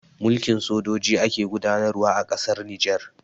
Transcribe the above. Mulkin sojoji ake gudanarwa a ƙasar Nijar